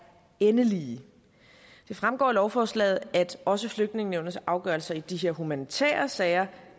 endelige det fremgår af lovforslaget at også flygtningenævnets afgørelser i de her humanitære sager